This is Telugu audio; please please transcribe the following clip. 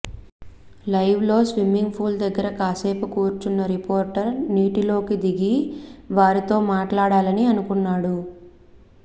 లైవ్ లో స్విమ్మింగ్ ఫుల్ దగ్గర కాసేపు కూర్చున్న రిపోర్టర్ నీటిలోకి దిగి వారితో మాట్లాడాలని అనుకున్నాడు